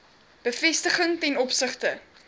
bevestiging ten opsigte